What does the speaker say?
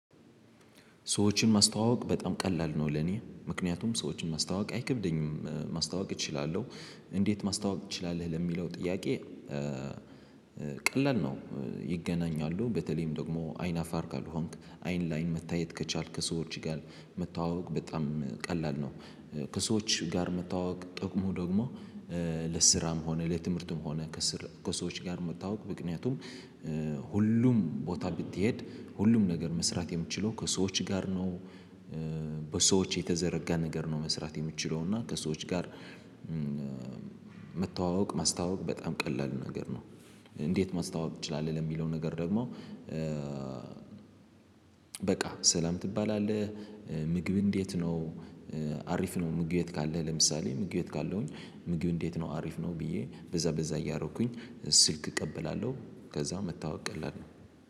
ሰዎችን ማስተዋወቅ በጣም ቀላል ነው ለኔ ምክንያቱም ሰዎችን ማስተዋወቅ አይከብደኝም ማስተዋወቅ እችላለሁ። እንዴት ማስተዋወቅ ትችላለህ ለሚለው ጥያቄ? ቀላል ነው። ይገናኛሉ በተለይም ደግሞ አይናፋር ካልሆንክ አይን ለአይን መተያየት ከቻልክ ከሰዎች ጋር መተዋወቅ ቀላል ነው። ከሰዎች ጋር መተዋወቅ ጥቅሙ ደግሞ። ለስራም ሆነ ለትምህርቱም ሆነ ከስር ከሰዎች ጋር መተዋወቅ ምክንያቱም ሁሉም ቦታ ብትሄድ ሁሉም ነገር መስራት የምችለው ከሰዎች ጋር ነው። በሰዎች የተዘረጋ ነገር ነው መስራት የምችለው እና ከሰዎች ጋር መተዋወቅ ማስተዋወቅ በጣም ቀላል ነው። ነጉሩ እንዴት ማስተዋወቅ ትችላለህ ለሚለው? ነገር ደግሞ በቃ ሰላም ትባላለህ። ምግብ እንዴት ነው? አሪፍ ነው። ምግብ ቤት ካለ ለምሳሌ ምግብ ቤት ካለ ምግብ እንዴት ነው አሪፍ ነው። ብየ በዛ በዛ እያረኩኝ ስልክ እቀበላለሁ። ከዛ መተዋወቅ ቀላል ነው